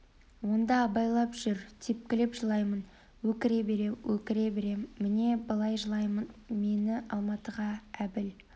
онда ойбайлап жер тепкілеп жылаймын өкіре берем өкіре берем міне былай жылаймын мені алматыға әбіл